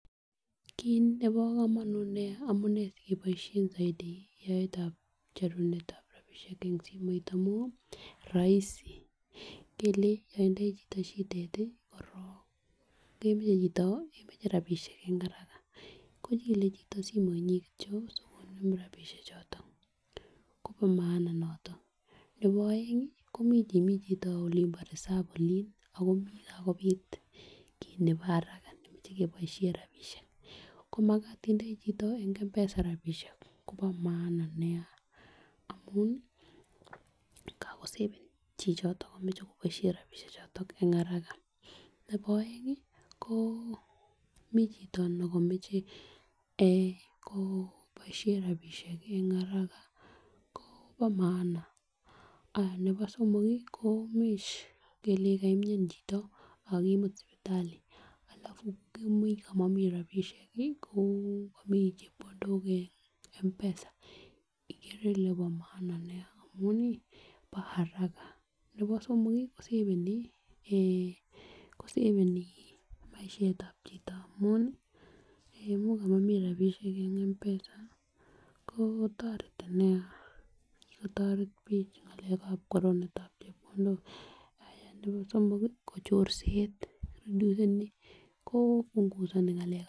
Kit nebo komonut nia amunee sikeboishen soiti yaetab cheruenetab rabishek en simoit amun roisi ngele yon itindoi chito shidet korong kemoche chito kemoche rabishek en haraka kichile chito simoinyin kityok sikonem rabishek choton Kobo maana niton. Nebo oeng komiten mii chito k Olimbo reserve olin ako mii kakopit kit nebo haraka nemoche keboishen rabishek komakat itindoi chito en m-pesa rabishek Kobo maana nia amun kakosaven chichoton komoche koboishen rabishek choton en haraka. Nebo oengi ko mii chito nekomoche eeh ko boishen rabishek en haraka kobo maana, nebo somok kii ko much kelenjin kamian chito ak kimut sipitali alafu kimuch komomii rabishek kii ko komii chepkondok m-pesa ikere ile bo maana nia amun nii bo haraka. Nebo somok kii kosaveni koseveni maishetab chito amuni eeh much komomii rabishek en m-pesa ko toreti nia kikotoret bik en ngalekab konunetab chepkondok ,nebo somok kii ko chorset reduce seni ko bunkusoni ngalekab